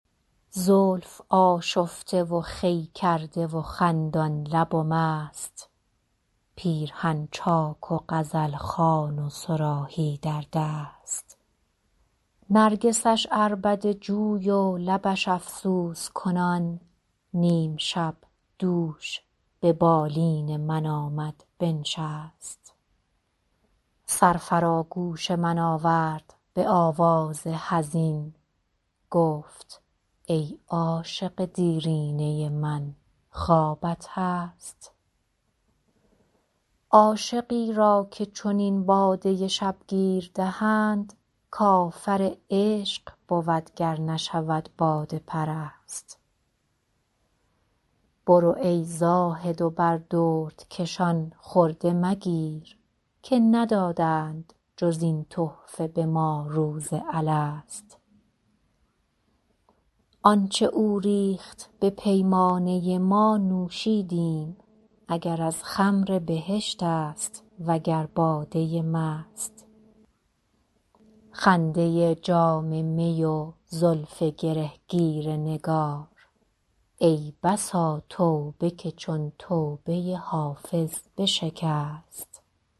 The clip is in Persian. زلف آشفته و خوی کرده و خندان لب و مست پیرهن چاک و غزل خوان و صراحی در دست نرگسش عربده جوی و لبش افسوس کنان نیم شب دوش به بالین من آمد بنشست سر فرا گوش من آورد به آواز حزین گفت ای عاشق دیرینه من خوابت هست عاشقی را که چنین باده شبگیر دهند کافر عشق بود گر نشود باده پرست برو ای زاهد و بر دردکشان خرده مگیر که ندادند جز این تحفه به ما روز الست آن چه او ریخت به پیمانه ما نوشیدیم اگر از خمر بهشت است وگر باده مست خنده جام می و زلف گره گیر نگار ای بسا توبه که چون توبه حافظ بشکست